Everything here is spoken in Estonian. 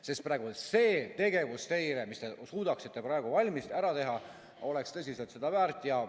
Sest praegu see tegevus, mis teie suudaksite praegu ära teha, oleks tõsiselt seda väärt.